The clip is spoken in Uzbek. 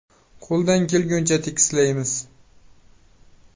Qo‘ldan kelguncha tekislaymiz.